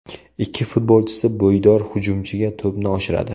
Ikki futbolchisi bo‘ydor hujumchiga to‘pni oshiradi.